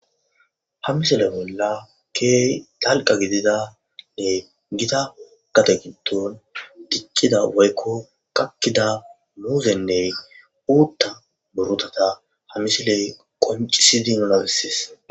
hamisile bolla keey talqa gididanne gita kate gidon diccida woykko kakkida muuzenne uutta burotata hamisiley qoncisidi nunabessis